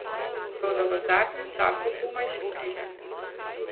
Toda v zadnjem času komaj še pride.